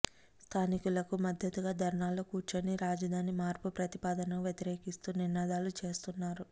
స్థానికులకు మద్దతుగా ధర్నాలో కూర్చొని రాజధాని మార్పు ప్రతిపాదనకు వ్యతిరేకిస్తూ నినాదాలు చేస్తున్నారు